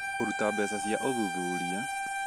kũruta mbeca cia ũthuthuria